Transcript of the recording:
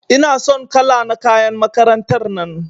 Ina son kala na kayan makarantar nan.